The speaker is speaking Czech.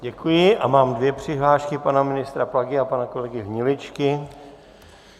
Děkuji a mám dvě přihlášky, pana ministra Plagy a pana kolegy Hniličky.